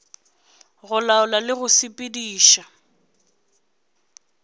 go laola le go sepediša